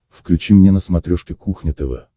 включи мне на смотрешке кухня тв